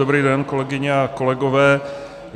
Dobrý den, kolegyně a kolegové.